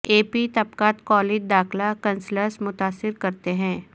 اے P طبقات college داخلہ cancels متاثر کرتے ہیں